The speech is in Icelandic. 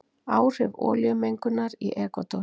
Áhrif olíumengunar í Ekvador.